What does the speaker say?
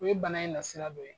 O ye bana in na sira dɔ ye